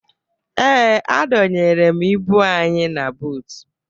Ee, adọnyere m ibu anyị na buutu